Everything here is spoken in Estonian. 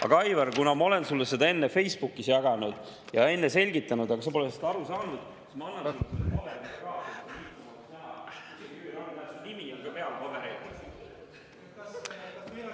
Aga Aivar, kuna ma olen sulle seda enne Facebookis jaganud ja enne selgitanud, aga sa pole sest aru saanud, siis ma annan selle sulle paberil ka ...